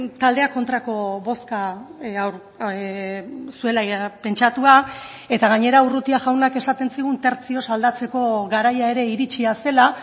taldeak kontrako bozka zuela pentsatua eta gainera urrutia jaunak esaten zigun tertzioz aldatzeko garaia ere iritsia zela